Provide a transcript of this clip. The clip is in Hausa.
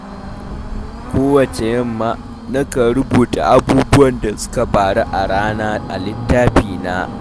Kowacce yamma, nakan rubuta abubuwan da suka faru a rana a littafina.